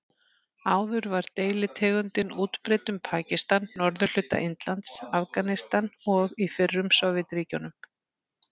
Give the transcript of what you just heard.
Áður var deilitegundin útbreidd um Pakistan, norðurhluta Indlands, Afganistan og í fyrrum Sovétríkjunum.